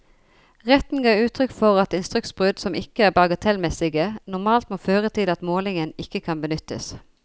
Retten ga uttrykk for at instruksbrudd som ikke er bagatellmessige, normalt må føre til at målingen ikke kan benyttes.